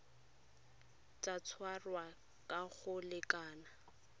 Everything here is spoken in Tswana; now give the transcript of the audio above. tla tshwarwa ka go lekana